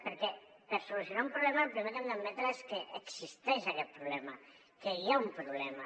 perquè per solucionar un problema el primer que hem d’admetre és que existeix aquest problema que hi ha un problema